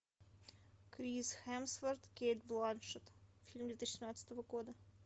крис хемсворт кейт бланшетт фильм две тысячи шестнадцатого года